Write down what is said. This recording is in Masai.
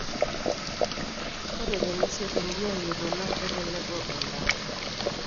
ore tenesiokini ayiolou naa keleleku ebaata